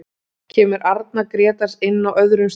Kemur Arnar Grétars inn á öðrum stað?